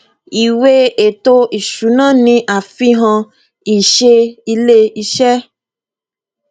ìwé ètò ìsúná ni àfihàn ìṣe ilé iṣẹ